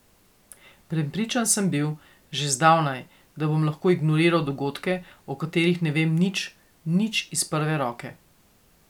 Prepričan sem bil, že zdavnaj, da bom lahko ignoriral dogodke, o katerih ne vem nič, nič iz prve roke.